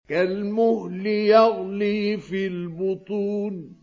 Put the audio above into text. كَالْمُهْلِ يَغْلِي فِي الْبُطُونِ